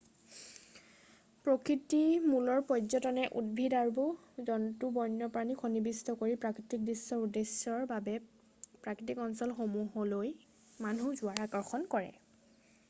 প্ৰকৃতি-মূলৰ পৰ্য্যটনে উদ্ভিদ আৰু জন্তু বণ্যপ্ৰাণীক সন্নিৱিষ্ট কৰি প্ৰকৃতিক দৃশ্যৰ উদ্দেশ্যৰ বাবে প্ৰাকৃতিক অঞ্চলসমূহলৈ মানুহ যোৱাক আকৰ্ষণ কৰে৷